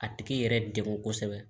A tigi yɛrɛ degun kosɛbɛ